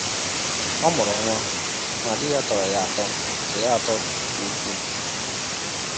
Ọ mụrụ nwa, ma di ya tọrọ ya atọ nke ya atọ nke ukwuu.